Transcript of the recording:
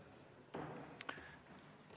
Aitäh!